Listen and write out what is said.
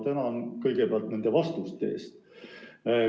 Tänan kõigepealt ministrit vastuste eest!